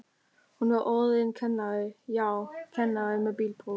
Hún var orðin kennari, já, kennari með bílpróf.